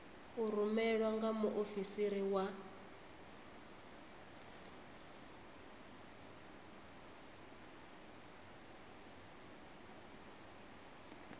u rumelwa nga muofisiri wa